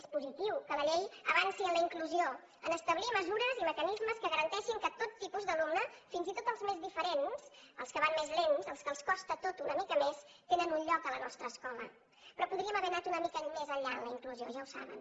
és positiu que la llei avanci en la inclusió a establir mesures i mecanismes que garanteixin que tot tipus d’alumne fins i tot els més diferents els que van més lents els que els costa tot una mica més tenen un lloc a la nostra escola però podríem haver anat una mica més enllà en la inclusió ja ho saben